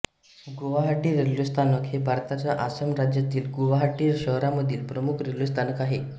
Guwahati railway स्थानक हे भारताच्या आसाम राज्यातील गुवाहाटी शहरामधील प्रमुख रेल्वे स्थानक आहे